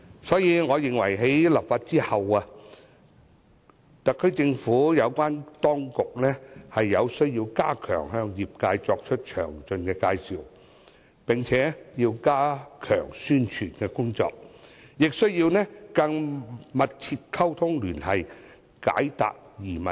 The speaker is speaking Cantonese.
所以，我認為在立法後，特區政府有關部門須向業界作出詳細介紹，並且加強宣傳工作，也需要與業界緊密溝通聯繫，為業界解答疑問。